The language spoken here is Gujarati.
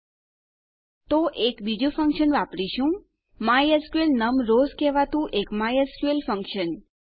તો આપણે શું કરીશું આપણે એક બીજું ફંક્શન વાપરીશું માયસ્કલ નમ રોઝ કહેવાતું એક માયસ્કલ ફંક્શન